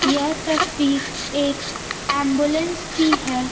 यह तस्वीर एक एंबुलेंस की है।